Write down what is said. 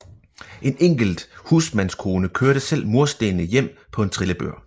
En enkelt husmandskone kørte selv murstenene hjem på en trillebør